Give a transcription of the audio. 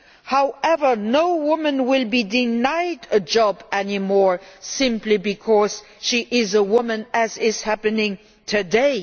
However, no woman will be denied a job any more simply because she is a woman, as is happening today.